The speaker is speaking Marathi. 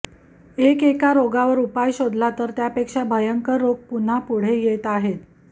एकएका रोगावर उपाय शोधला तर त्यापेक्षा भयंकर रोग पुन्हा पुढे येत आहेत